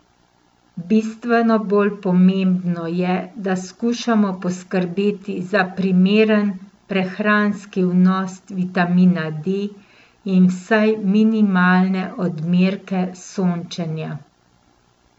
Bistveno bolj pomembno je, da skušamo poskrbeti za primeren prehranski vnos vitamina D in vsaj minimalne odmerke sončenja.